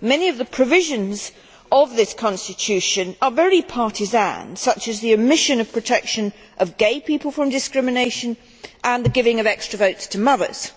Many of the provisions of this constitution are very partisan, such as the omission of protection of gay people from discrimination and the giving of extra votes to mothers.